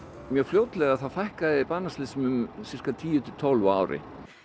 mjög fljótlega þá fækkaði banaslysum um sirka tíu til tólf á ári